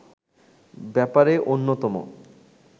ব্যাপারে অন্যতম